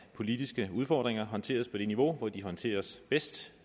politiske udfordringer håndteres på det niveau hvor de håndteres bedst